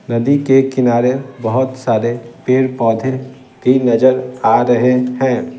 नदी के किनारे बहुत सारे पेड़-पौधे भी नजर आ रहे हैं।